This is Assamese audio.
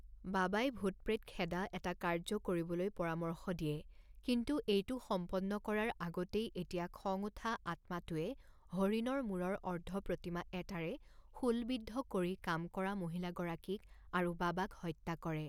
বাবাই ভূত প্ৰেত খেদা এটা কাৰ্য্য কৰিবলৈ পৰামৰ্শ দিয়ে কিন্তু এইটো সম্পন্ন কৰাৰ আগতেই এতিয়া খং উঠা আত্মাটোৱে হৰিণৰ মূৰৰ অৰ্ধপ্ৰতিমা এটাৰে শূলবিদ্ধ কৰি কাম কৰা মহিলাগৰাকীক আৰু বাবাক হত্যা কৰে।